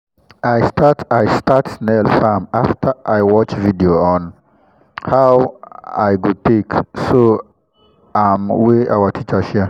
i con dey make soap with moringa oil after i at ten d training on how to make things with plant and leaf